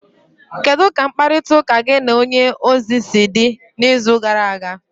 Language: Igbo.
kedu ka mkparịtaụka gị na onye ozi si dị n'izu gara aga?